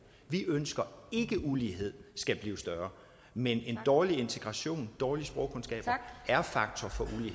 vi ønsker ikke at uligheden skal blive større men en dårlig integration dårlige sprogkundskaber er faktorer